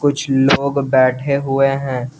कुछ लोग बैठे हुए हैं।